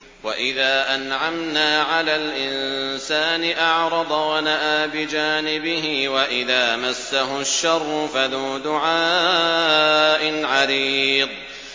وَإِذَا أَنْعَمْنَا عَلَى الْإِنسَانِ أَعْرَضَ وَنَأَىٰ بِجَانِبِهِ وَإِذَا مَسَّهُ الشَّرُّ فَذُو دُعَاءٍ عَرِيضٍ